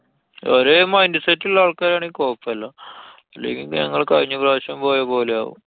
ഒരേ mind set ള്ള ആള്‍ക്കാരാനെങ്കില്‍ കൊയപ്പല്ല്യാ. അല്ലെങ്കി പ്പൊ ഞങ്ങള് കഴിഞ്ഞ പ്രാവശ്യം പോയപോലെ ആവും.